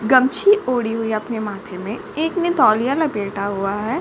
गमछे ओढ़ी हुई है अपने माथे में। एक ने तौलिया लपेटा हुआ है।